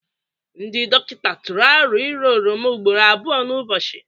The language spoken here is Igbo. Ndị dọkịta tụrụ aro ira oroma ugboro abụọ n'ụbọchị.